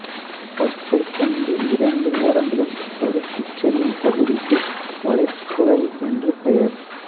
பற்கள் கொண்ட இரண்டு ஓரங்களும் சறுக்கிச்செல்லும் இப்பகுதிக்கு வளைபுழை என்று பெயர்